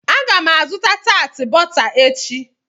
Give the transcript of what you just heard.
Aga m azụta tat bọta echi.